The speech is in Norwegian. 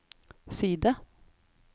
side